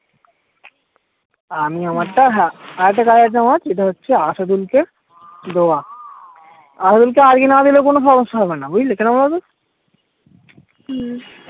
আমি আমার টা হ্যাঁ আরেকটা কাজ আছে আমার যেটা হচ্ছে কে দেওয়া কে আজকে না দিলে কোনো সমস্যা হবেনা বুঝলে কেন বলো তো হম